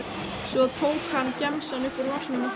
Svo tók hann gemsann upp úr vasanum og hringdi.